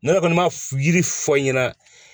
Ne yɛrɛ kɔni ma yiri fɔ n ɲɛna